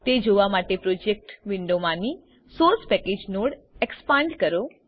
તે જોવા માટે પ્રોજેક્ટ વિન્ડોમાંની સોર્સ પેકેજ નોડ એક્સપાંડ કરો